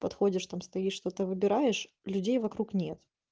подходишь там стоишь что то выбираешь людей вокруг нет